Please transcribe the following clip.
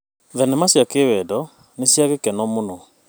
Thenema cia kĩwendo nĩ cia gũkenia mũno.